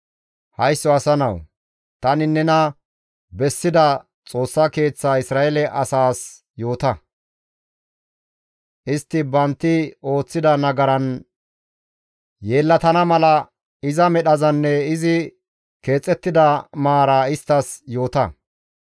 «Haysso asa nawu, tani nena bessida Xoossa Keeththa Isra7eele asaas yoota; istti bantti ooththida nagaran yeellatana mala, iza medhazanne izi keexettida maara isttas yoota.